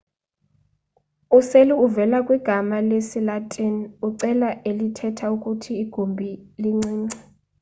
useli uvela kwigama lesi-latin u-cella elihetha ukuthi igumbi lincinci